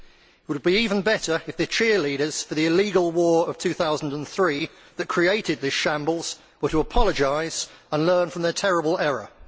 It would be even better if the cheerleaders for the illegal war of 2003 that created this shambles were to apologise and learn from their terrible error.